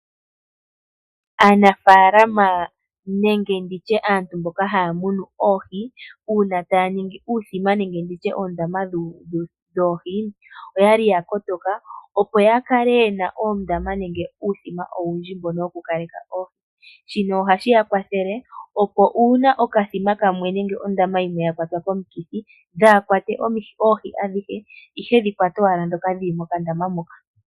Aanafaalama nenge aantu mboka haya munu oohi, uuna taya ningi uuthima nenge uundama woohi oya li ya kotoka opo ya kale ye na uundama nenge uuthima woohi owindji. Shino ohashi ya kwathele uuna okandaama kamwe nenge okathima kamwe ka kwatwa komikithi dhaa kwatwe oohi adhihe, ihe dhi kwate owala ndhoka dhi li mokandama moka.